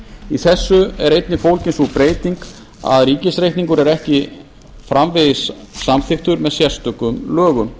í þessu er einnig fólgin sú breyting að ríkisreikningur er ekki framvegis samþykktur með sérstökum lögum